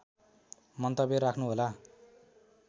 मन्तव्य राख्नु होला